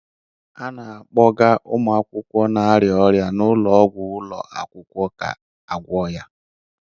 A na-akpọga ụmụ akwụkwọ na-arịa ọrịa na ụlọ ọgwụ ụlọ akwụkwọ ka a gwọọ ya